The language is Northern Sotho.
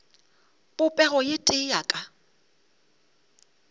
popego ye tee ya ka